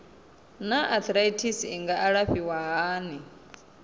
naa arthritis i nga alafhiwa hani